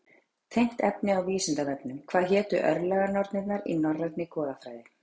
Tengt efni á Vísindavefnum: Hvað hétu örlaganornirnar í norrænni goðafræði?